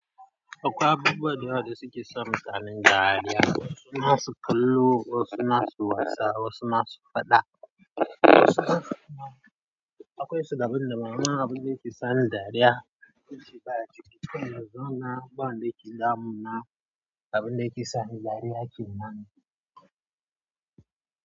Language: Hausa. Akwai abubuwa da yawa da suke sa mutane dariya, wasu na su kallo, wasu na su wasa, wasu na su faɗa. Akwai su daban da amma, abun da yake sa ni dariya yake baya ciki. To yanzu na ga abun da yake damuna, abun da yake sa ni dariya yake nani.